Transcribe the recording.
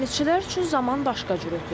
Dənizçilər üçün zaman başqa cür ötür.